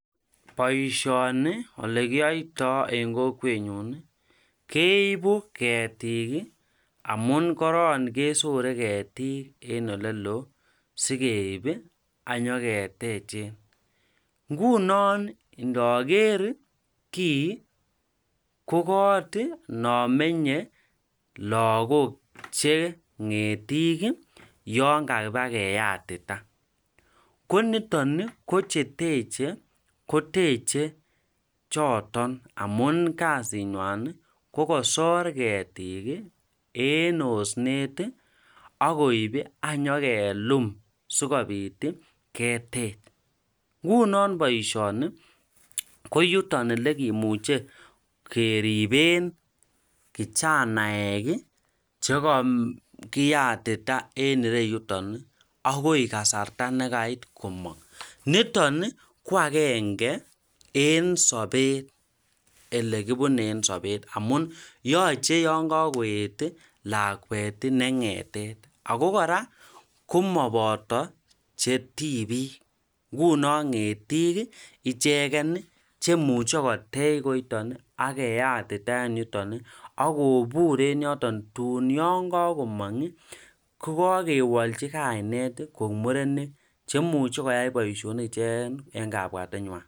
boishoni elekiyoitoo en kokwet nyuun keibu ketik iih amuun koron kesore ketiik en oleloo sigeib iih anyogetechen, ngunon nogeer kii ko koot iih non menye lagook che ngetiik iih yoon kabagayatita, ko niton iih kocheteche ko teche choton amuun kasiit nywan ko kosoor ketik iih en osneet iih ak koib iih ak nyagelum sigobiit iih ketech, ngunon boishoni ko yuton elegimuche keriben kichanaek chegakiyatita en ireyuton iih agi kasarta nagait komong, niton iih ko agenge en sobet elegibune en sobet amun yoche yon kagoet lakwet ne ngetet, ago kora komoboto chetibiik ngunon ngetiik iih ichegen iih chemuche koteech koiton iih ak keyatita en yuton, ak kobuur en yoton, tun yongagoong iih ko kagewolchi kainet koek murenik chemuche koyai boishonik ichegen iih en kabwatenywan.